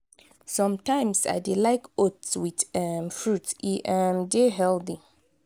sometimes i dey like oats with um fruits; e um dey healthy.